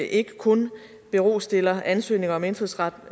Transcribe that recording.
ikke kun stiller ansøgninger om indfødsret